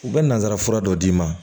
U bɛ nazarafura dɔ d'i ma